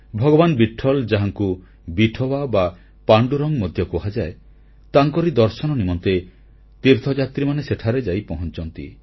ଭଗବାନ୍ ବିଟ୍ଠଲ ଯାହାଙ୍କୁ ବିଠୋୱା ବା ପାଣ୍ଡୁରଙ୍ଗ ମଧ୍ୟ କୁହାଯାଏ ତାଙ୍କରି ଦର୍ଶନ ନିମନ୍ତେ ତୀର୍ଥଯାତ୍ରୀମାନେ ସେଠାରେ ଯାଇ ପହଂଚନ୍ତି